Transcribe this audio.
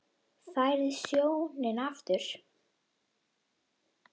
Færð sjónina aftur.